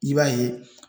I b'a ye